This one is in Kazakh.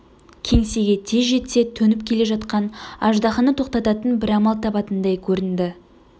кеңсеге тез жетсе төніп келе жатқан аждаһаны тоқтататын бір амал табатындай көрінді